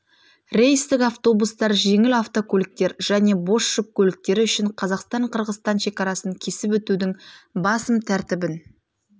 рейстік автобустар жеңіл автокөліктер және бос жүк көліктері үшін қазақстан-қырғызстан шекарасын кесіп өтудің басым тәртібін